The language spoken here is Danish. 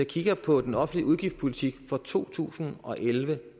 kigger på den offentlige udgiftspolitik fra to tusind og elleve